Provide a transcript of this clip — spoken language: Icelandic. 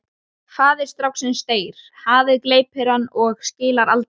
Faðir stráksins deyr, hafið gleypir hann og skilar aldrei aftur.